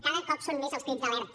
cada cop són més els crits d’alerta